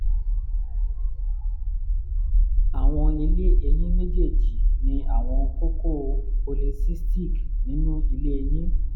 awọn ilé ẹyin mejeeji ni awọn kókó s / o polycystic nínú ilé ẹyin